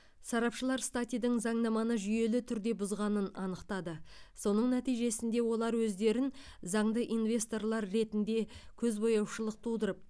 сарапшылар статидің заңнаманы жүйелі түрде бұзғанын анықтады соның нәтижесінде олар өздерін заңды инвесторлар ретінде көзбояушылық тудырып